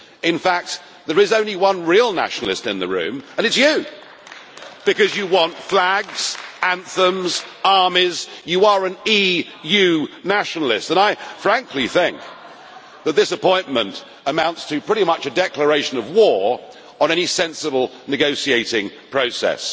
In fact, there is only one real nationalist in the room and it is you, Mr Verhofstadt, because you want flags, anthems and armies. You are an EU nationalist, and I frankly think that this appointment amounts to pretty much a declaration of war on any sensible negotiating process.